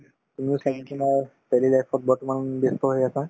তুমিও তোমাৰ daily life ত বৰ্তমান ব্যস্ত হৈ আছা